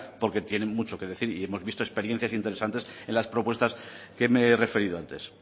porque tienen mucho que decir y hemos visto experiencias interesantes en las propuestas que me he referido antes